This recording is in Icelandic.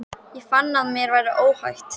Ég fann að mér var óhætt.